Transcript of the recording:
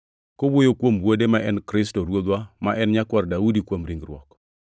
kowuoyo kuom Wuode, ma en Yesu Kristo Ruodhwa ma en nyakwar Daudi kuom ringruok.